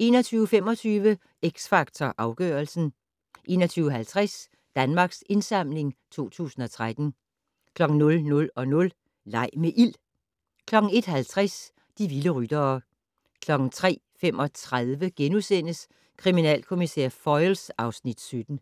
21:25: X Factor Afgørelsen 21:50: Danmarks Indsamling 2013 00:00: Leg med ild! 01:50: De vilde ryttere 03:35: Kriminalkommissær Foyle (Afs. 17)*